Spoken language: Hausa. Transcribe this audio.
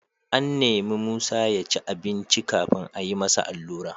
An nemi Musa ya ci abinci kafin a yi masa allura.